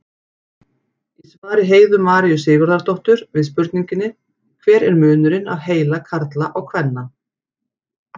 Í svari Heiðu Maríu Sigurðardóttur við spurningunni Hver er munurinn á heila karla og kvenna?